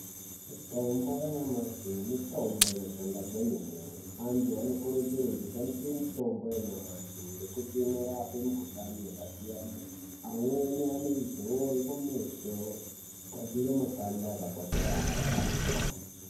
Mitombo yanyamashi mitombo inoshanda kwemene antu anokurudzirwa kushandise mitombo yanyamashi ngekuti inorapa mikuhlani yakasiyana amweni anoizora kumeso kugadzira makanda akakwasharara.